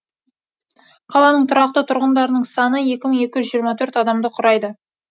қаланың тұрақты тұрғындарының саны екі мың екі жүз жиырма төрт адамды құрайды